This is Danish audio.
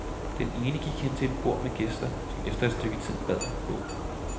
Den ene gik hen til et bord med gæster, som efter et stykke tid bad ham gå.